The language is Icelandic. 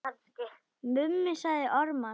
Mummi sagði ormar.